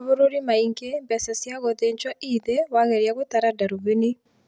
Mabũrũri maingi mbeca cia gũthinjwo ii thĩĩ wageria gutara ndarubini